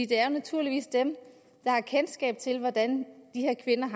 det er naturligvis dem der har kendskab til hvordan de her kvinder